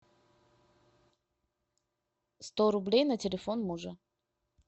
сто рублей на телефон мужа